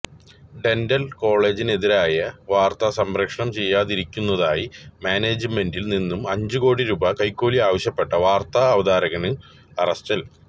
dental കോളേജിനെതിരായ വാര്ത്ത സംപ്രേഷണം ചെയ്യാതിരിക്കുന്നതിനായി മാനേജ്മെന്റില് നിന്നും അഞ്ച് കോടി രൂപ കൈക്കൂലി ആവശ്യപ്പെട്ട വാര്ത്താ അവതാരകന് അറസ്റ്റില്